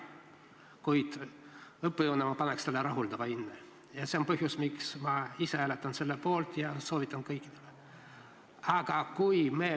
Kuid õppejõuna ma paneksin sellele rahuldava hinde ning see on põhjus, miks ma ise hääletan selle poolt ja soovitan sama teha ka kõigil teistel.